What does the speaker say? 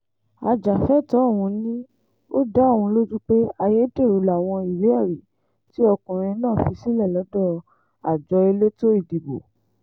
ajàfẹ́tọ̀ọ́ ọ̀hún ni ó dá òun lójú pé ayédèrú làwọn ìwé-ẹ̀rí tí ọkùnrin náà fi sílẹ̀ lọ́dọ̀ àjọ elétò ìdìbò